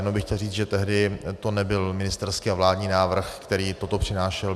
Jenom bych chtěl říct, že tehdy to nebyl ministerský a vládní návrh, který toto přinášel.